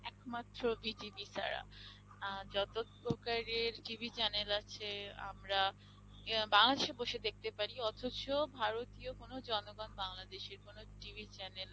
একমাত্র BTV ছাড়া আহ যতপ্রকারের TV channel আছে আমরা বাংলাদেশে বসে দেখতে পারি অথচ ভারতীয় কোন জনগণ বাংলাদেশের কোন TV channel